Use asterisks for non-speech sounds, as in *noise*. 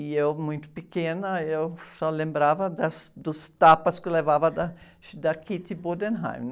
E eu, muito pequena, só lembrava das, dos tapas que levava da, *unintelligible* da. *unintelligible*